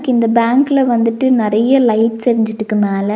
க்கு இந்த பேங்க்ல வந்துட்டு நறைய லைட்ஸ் எரிஞ்சிட்டுக்கு மேல.